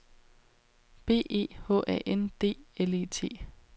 B E H A N D L E T